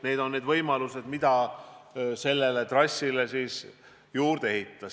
Need on võimalused, mida sellele trassile juurde ehitada.